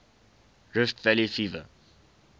rift valley fever